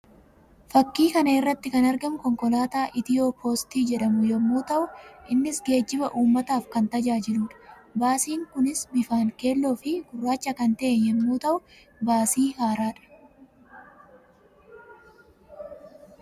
Fakkii kana irratti kan argamu konkolaataa Itiyoo poostii jedhamu yammuu ta'u ta'u; innis geejjiba uummataaf kan tajaajiluudha. Baasiin kunis bifaan keelloo fi gurraacha kan ta'e yammuu ta'u; Baasii haaraa dha.